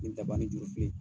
Ni daba ni jurufilen.